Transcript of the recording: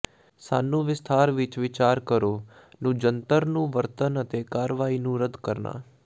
ਸਾਨੂੰ ਵਿਸਥਾਰ ਵਿੱਚ ਵਿਚਾਰ ਕਰੋ ਨੂੰ ਜੰਤਰ ਨੂੰ ਵਰਤਣ ਅਤੇ ਕਾਰਵਾਈ ਨੂੰ ਰੱਦ ਕਰਨਾ